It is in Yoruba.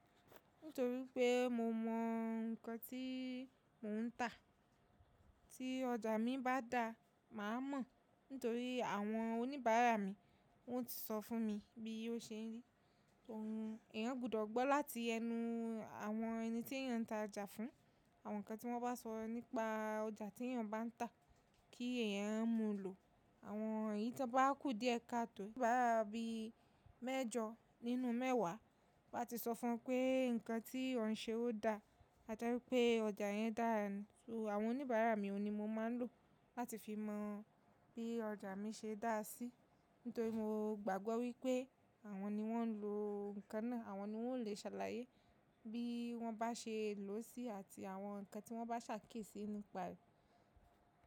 Nítorí pé mo mọ nǹkan tíí mò ń tà. Tí ọjà mi bá dá, màá mọ̀ nítorí àwọn oníbàárà mi wọ́n ti sọ fún mi bí ó ṣe n rí. Òún, èyàn gbudọ̀ gbọ́ láti ẹnu àwọn ẹni tí èyàn ń ta ọjà fún, àwọn nǹkan tí wọ́n bá sọ nípa ọjà tí èyàn bá ń tà kí èyàn ó mú lò. Àwọn yìí tí wọ́n bá kù díẹ̀ katọ̀, bá bí mẹ́jọ nínú mẹ́wàá bá ti sọ fún un pé nǹkan tí ọ̀ ń ṣe ó dá àjẹn wipé ọjà yẹn dáara, so àwọn oníbàárà mi òun ní mo máa ń lò láti fi mọ bí ọjà mi ṣe dá a sí. Nítorí mo gbàgbọ́ wípé àwọn ni wọ́n ń lo nǹkan náà, àwọn ni wọ́n ó lè ṣàlàyé bí wọ́n bá ṣe lòó sí àti àwọn nǹkan tí wọ́n bá ṣàkíyesì nípa rẹ̀.